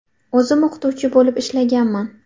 O‘zim o‘qituvchi bo‘lib ishlaganman.